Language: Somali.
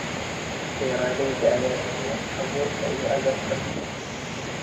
Beeralayda ayaa bixiya abuurka iyo agabka.